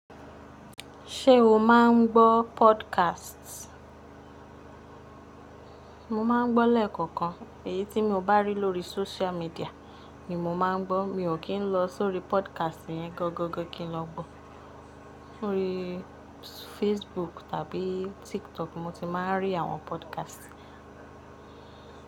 Ṣé o má ń gbọ́ podcast? Mo má ń gbọ́ lẹ́ẹ̀kọ̀kan. Èyí tí mo bá rí lórí social media ni mo máa ń gbọ́. Mi ò kì í lọ sórí podcast yẹn gangan kí n lọ gbọ́. Lórí Facebook tàbí TikTok mo ti má a rí àwọn podcast.